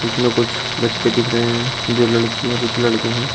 जिसमें कुछ बच्चे दिख रहे हैं जो लड़कियां कुछ लड़के हैं।